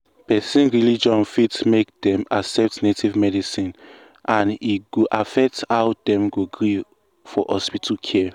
person religion fit make dem accept native medicine and e go affect how dem go gree for hospital care.